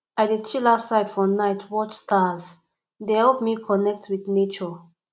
i dey chill outside for night watch stars e dey help me connect wit nature